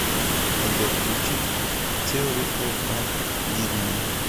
сбер включить теори оф а дидман